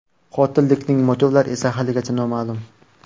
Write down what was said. Qotillikning motivlari esa haligacha noma’lum.